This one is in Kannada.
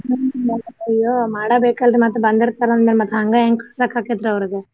ಮಾಡಬೇಕ ಅಲ್ರಿ ಮತ್ತ ಬಂದಿರ್ತಾರ ಅಂದಮ್ಯಾಲ ಮತ್ತ ಹಂಗ ಹೆಂಗ ಕಳ್ಸಾಕ ಆಕ್ಕೇತ್ರಿ ಅವ್ರಿಗೆ.